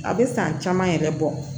A bɛ san caman yɛrɛ bɔ